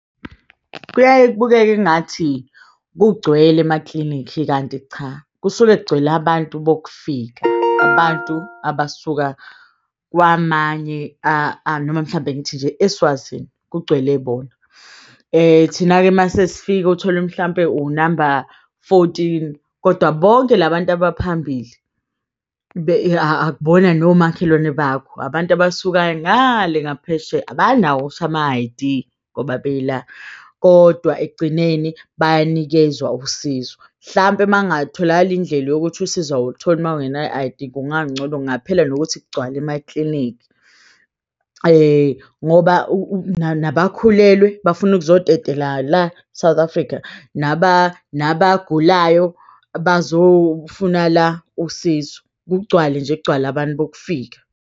Kuyaye kubukeka engathi kugcwele emaklinikhi kanti cha. Kusuke kugcwele abantu bokufika, abantu abasuka kwamanye ama noma mhlampe ngithi nje eSwazini kugcwele bona. Thina-ke masesifika utholwe mhlampe unamba fourteen kodwa bonke la bantu abaphambili akubona nomakhelwane bakho. Abantu abasuke ngale ngaphesheya abanawo okusha ama-I_D ngoba bela kodwa ekugcineni bayanikezwa usizo. Mhlampe mangatholakala indlela yokuthi usizo awulitholi ma ungenayo i-I_D kungangcono. Kungaphela nokuthi kugcwale emaklinikhi ngoba nabakhulelwe bafuna ukuzotetela la e-South Africa, nabagulayo bazofuna la usizo. Kugcwale nje kugcwale abantu bokufika.